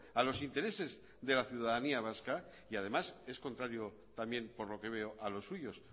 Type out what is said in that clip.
a los intereses de la ciudadanía vasca y además es contrario también por lo que veo a los suyos